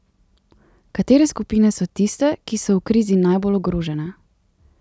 Katere skupine so tiste, ki so v krizi najbolj ogrožene?